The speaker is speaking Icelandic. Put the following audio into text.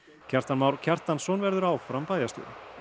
Kjartan Már Kjartansson verður áfram bæjarstjóri